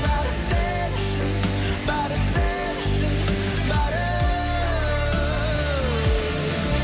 бәрі сен үшін бәрі сен үшін бәрі